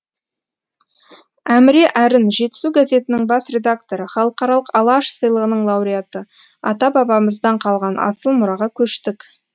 әміре әрін жетісу газетінің бас редакторы халықаралық алаш сыйлығының лауреаты ата бабамыздан қалған асыл мұраға көштік